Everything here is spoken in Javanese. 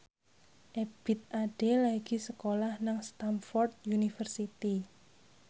Ebith Ade lagi sekolah nang Stamford University